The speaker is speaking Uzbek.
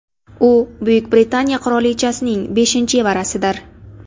U Buyuk Britaniya qirolichasining beshinchi evarasidir.